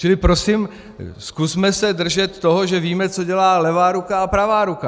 Čili prosím, zkusme se držet toho, že víme, co dělá levá ruka a pravá ruka.